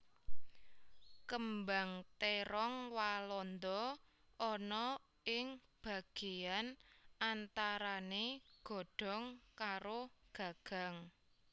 Kembang térong walanda ana ing bagéyan antarané godhong karo gagang